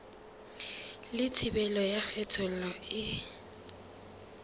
le thibelo ya kgethollo e